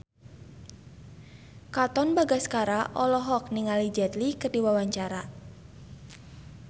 Katon Bagaskara olohok ningali Jet Li keur diwawancara